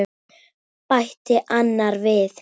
bætti annar við.